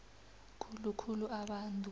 khulu khulu abantu